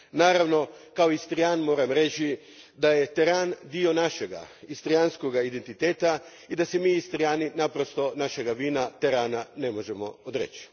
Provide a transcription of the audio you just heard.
Naravno, kao Istrijan moram reći da je teran dio našega istrijanskoga identiteta i da se mi Istrijani naprosto našega vina terana ne možemo odreći.